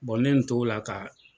ne y'o t'o la ka.